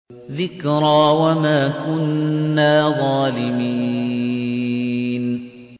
ذِكْرَىٰ وَمَا كُنَّا ظَالِمِينَ